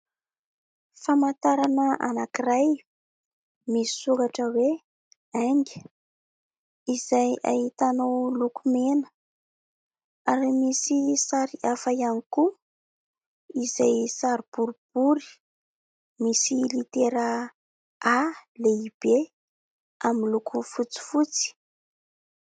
Famantarana anankiray misy soratra hoe :《AINGA》izay ahitanao loko mena ary misy sary hafa ihany koa ; izay sary boribory misy litera "A" lehibe amin'ny loko fotsifotsy.